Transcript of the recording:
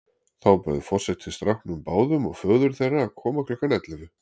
Þá bauð forseti strákunum báðum og föður þeirra að koma klukkan ellefu.